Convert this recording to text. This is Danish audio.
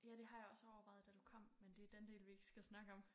Ja det har jeg også overvejet da du kom men det er den del vi ikke skal snakke om